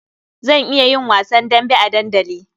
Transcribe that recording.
Zan iya yin wasan dambe a dandali.